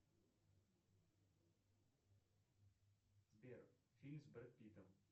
сбер фильм с брэд питом